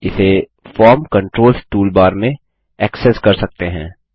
इसे form controls toolbar में access कर सकते हैं